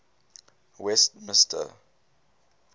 westmister